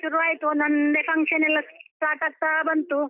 ಶುರು ಆಯ್ತು ಒಂದೊಂದೇ function ಎಲ್ಲ start ಆಗ್ತಾ ಬಂತು.